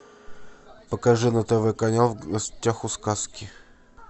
покажи на тв канал в гостях у сказки